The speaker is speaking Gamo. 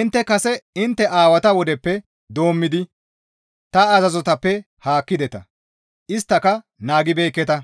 «Intte kase intte aawata wodeppe doommidi ta azazotappe haakkideta; isttaka naagibeekketa;